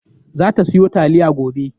Za ta siyo taliya gobe.